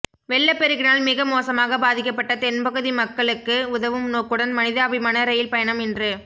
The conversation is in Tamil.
வெள்ளப் பெருக்கினால் மிக மோசமாக பாதிக்கபட்ட தென்பகுதி மக்களுக்கு உதவும் நோக்குடன் மனிதாபிமான ரயில் பயணம் இன்று